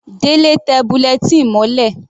Delẹ tẹ bulletin mọ́lẹ̀.